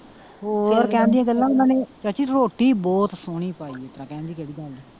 ਹੋਰ ਕਹਿਣ ਦੀਆਂ ਗੱਲਾਂ ਓਹਨਾ ਨੇ ਵੀ ਚਾਚੀ ਰੋਟੀ ਬਹੁਤ ਸੋਹਣੀ ਪਾਈ ਸੀ .